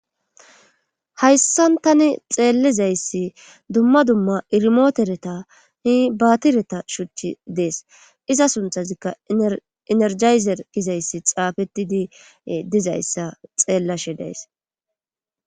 Hayssan tani xeellizayssi dumma dumma irimootereta hi baatireta shuchchi dees iza sunthazikka enerjayzer kizayssi xaafetidi dizayssa xeellashe days.